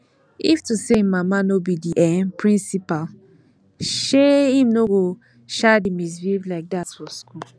if to say im mama no be um the principal um im no go um dey misbehave like dat for school